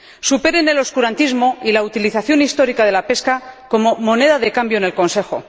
Superen el oscurantismo y la utilización histórica de la pesca como moneda de cambio en el Consejo.